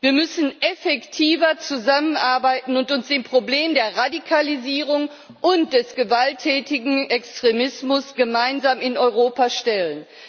Wir müssen effektiver zusammenarbeiten und uns dem Problem der Radikalisierung und des gewalttätigen Extremismus gemeinsam in Europa stellen.